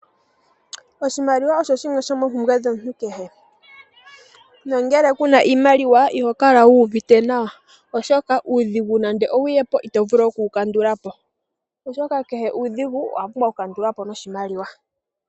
Oshimaliwa osho shimwe shomoompumbwe dhomuntu kehe. Nongele ku na iimaliwa iho kala wu uvite nawa, oshoka uudhigu nande owu ye po, ito vulu oku wu kandula po, oshoka kehe uudhigu owa pumbwa okukandulwa po noshimaliwa.